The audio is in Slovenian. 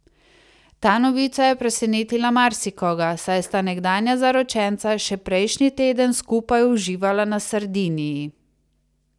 Ta novica je presenetila marsikoga, saj sta nekdanja zaročenca še prejšnji teden skupaj uživala na Sardiniji.